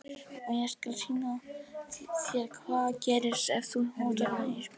Og ég skal sýna þér hvað gerist ef þú hótar mér Ísbjörg.